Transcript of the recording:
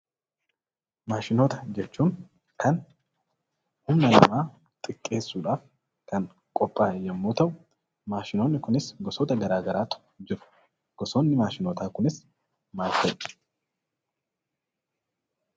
Maashinoota jechuun kan humna namaa xiqqeessuudhaaf, kan qophaa'e yommuu ta'u, maashinoonni kunis gosoota garaa garaatu jiru. Gosoonni maashinootaa kunis maal fa'i?